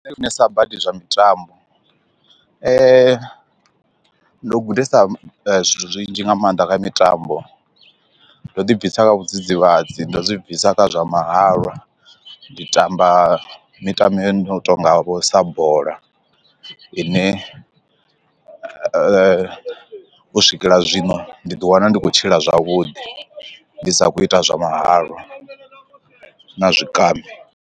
Nṋe ndi funesa badi zwa mitambo, ndo gudesa zwithu zwinzhi nga maanḓa kha mitambo ndo ḓi bvisa vhu dzidzivhadzi ndo zwi bvisa kha zwa mahalwa ndi tamba mitambo yo no tonga vho sa bola ine u swikela zwino ndi ḓi wana ndi khou tshila zwavhuḓi ndi sa khou ita zwa mahalwa na zwikambi.